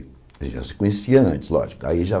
A gente já se conhecia antes, lógico aí já.